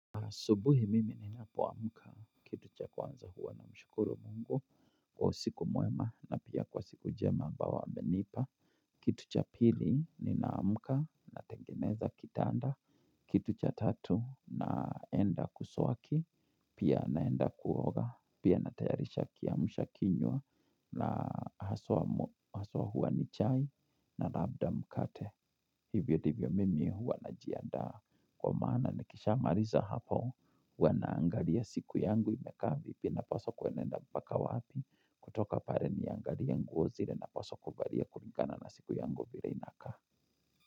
Asubuhi mimi ninapoamka, kitu cha kwanza huwa namshukuru Mungu Kwa usiku mwema na pia kwa siku njema ambao amenipa. Kitu cha pili ninaamka natengeneza kitanda, kitu cha tatu naenda kuswaki. Pia naenda kuoga, pia natayarisha kiamsha kinywa na haswa huwa ni chai na labda mkate hivyo ndivyo mimi huwa najiandaa kwa maana nikishaa maliza hapo huwa naangalia siku yangu imekaa vipi napaswa kwenenda mpaka wapi kutoka pale niangalie nguo zile napswa kuvalia kulingana na siku yangu vile inakaa.